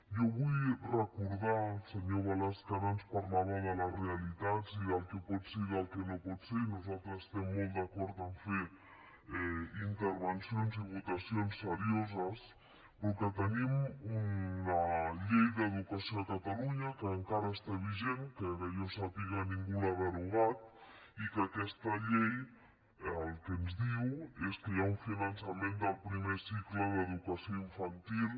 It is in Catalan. jo vull recordar al senyor balasch que ara ens parlava de les realitats i del que pot ser i del que no pot ser i nosaltres estem molt d’acord a fer intervencions i votacions serioses però que tenim una llei d’educació a catalunya que encara està vigent que que jo sàpiga ningú l’ha derogat i que aquesta llei el que ens diu és que hi ha un finançament del primer cicle d’educació infantil